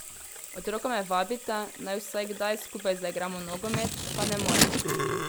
Otroka me vabita, naj vsaj kdaj skupaj zaigramo nogomet, pa ne morem.